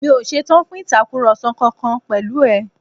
Mi ò ṣetán fún Ìtàkùrọ̀sọ kankan pẹ̀lú ẹ̀